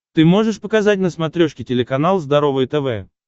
ты можешь показать на смотрешке телеканал здоровое тв